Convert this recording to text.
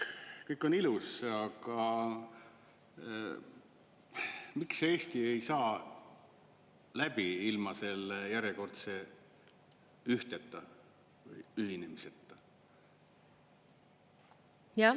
Kõik on ilus, aga miks Eesti ei saa läbi ilma selle järjekordse ühinemiseta?